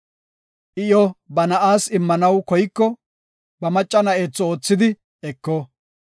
I iyo ba na7aas immanaw koyiko, ba macca na7atho oothidi eko.